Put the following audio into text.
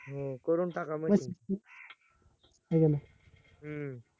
हो करून टाका म्हणजे हम्म